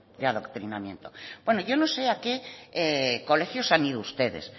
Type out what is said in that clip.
de adoctrinamiento bueno yo no sé a qué colegios han ido ustedes